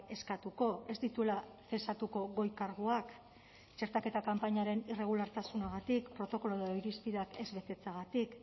eskatuko ez dituela zesatuko goi karguak txertaketa kanpainaren irregulartasunagatik protokolo edo irizpideak ez betetzeagatik